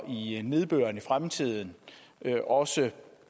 i nedbøren i fremtiden også